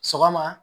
Sɔgɔma